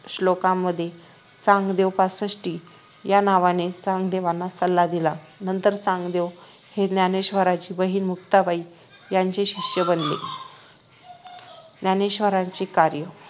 श्लोकांमध्ये चांगदेव पासष्टी या नावाने चांगदेवांना सल्ला दिला नंतर चांगदेव हे ज्ञानेश्वरांची बहीण मुक्ताबाई यांचे शिष्य बनले ज्ञानेश्वरांचे कार्य